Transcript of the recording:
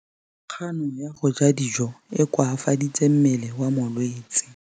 Kganô ya go ja dijo e koafaditse mmele wa molwetse.